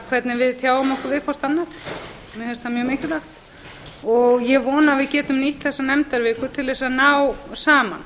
hvernig við tjáum okkur við hvert annað mér finnst það mjög mikilvægt ég vona að við getum nýtt þessa nefndaviku til að ná saman